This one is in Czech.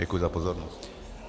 Děkuji za pozornost.